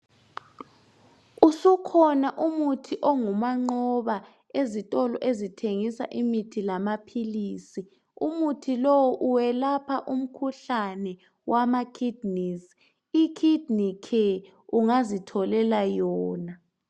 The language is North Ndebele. Usukhona umuthi ongumanqoba ezitolo ezithengisa imithi lamaphilisi. Umuthi lowo welapha umkhuhlane wamakidneys, ikidney care ungazitholela yona.